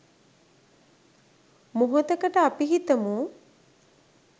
මොහොතකට අපි හිතමු